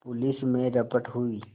police में रपट हुई